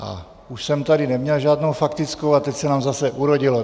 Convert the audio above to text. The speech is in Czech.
A už jsem tady neměl žádnou faktickou, ale teď se nám zase urodilo.